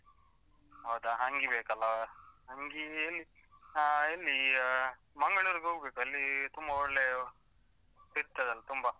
ಹೌದಾ ಅಂಗಿ ಬೇಕಲ್ಲಾ, ಅಂಗೀ ಎಲ್ಲಿ ಆ ಎಲ್ಲಿಯಾ ಮಂಗಳೂರ್ಗ್ ಹೋಗ್ಬೇಕು, ಅಲ್ಲೀ ತುಂಬಾ ಒಳ್ಳೆಯ ಸಿಗ್ತದಂತೆ ತುಂಬಾ.